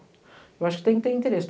Eu acho que tem que ter interesse.